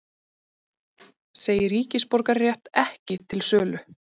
Segir ríkisborgararétt ekki til sölu